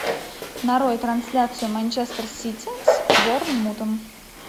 нарой трансляцию манчестер сити с борнмутом